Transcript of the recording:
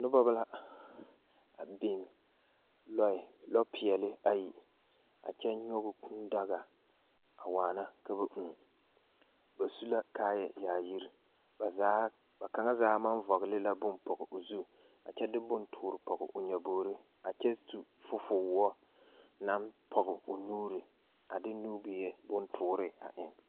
Noba la a biŋ lɔɛ lɔpeɛle ayi a kyɛ nyɔge kūūdaga a waana ka ba ūū ba su la kaayayaayiri ba zaa ba kaŋa zaa maŋ vɔgle la bone pɔge o zu a kyɛ de bone toore pɔge o nyɔbogri a kyɛ su fofowoɔ naŋ pɔge o nuuri a de nubie bontoore a eŋ.